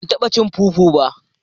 Ban taba cin " fufu" ba